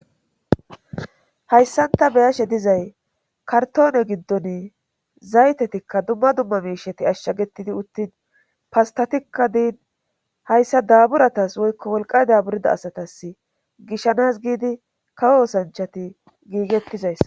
Hayssan ta beyashe dizay kartoone giddon zaytetikka dumma dumma mishati ashshagettidi uttin pastatikka diin hayssa daburatas woykko wolqay daburida asatas gishanas giidi kawo osanchati giigettizayssa.